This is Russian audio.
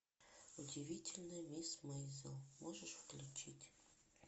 удивительная мисс мейзел можешь включить